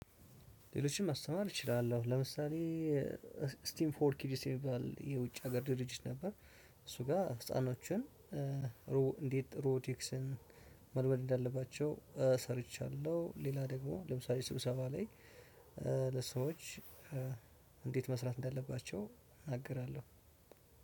ሌሎችን ማስተማር እችላለሁ ለምሳሌ ስቲም ፎርክ ዲሲቫል የውጭ ሀገር ድርጅት ነበር። እሱ ጋር ህፃኖችን እንዴት ሮቲክስን መልመድ እንዳለባቸው ሰርቻለሁ። ሌላ ደግሞ ለምሳሌ ስብሰባ ላይ ለሰዎች እንዴት መስራት እንዳለባቸው እናገራለሁ።